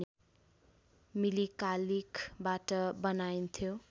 मिली कालिखबाट बनाइन्थ्यो